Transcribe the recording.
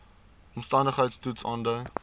omstandigheids toets aandui